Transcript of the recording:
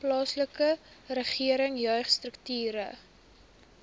plaaslike regering jeugstrukture